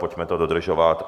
Pojďme to dodržovat.